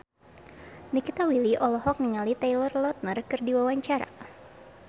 Nikita Willy olohok ningali Taylor Lautner keur diwawancara